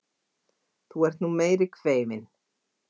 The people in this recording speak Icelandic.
Þú ert nú meiri kveifin!